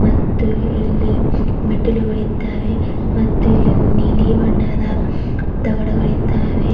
ಮತ್ತು ಇಲ್ಲಿ ಮೆಟ್ಟಿಲುಗಳಿದ್ದಾವೆ ಮತ್ತು ಇಲ್ಲಿ ನೀಲಿ ಬಣ್ಣದ ತಗಡುಗಳಿದ್ದಾವೆ.